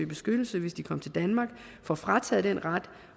beskyttelse hvis de kom til danmark får frataget den ret